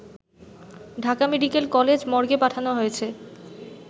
Dhaka medical college মর্গে পাঠানো হয়েছে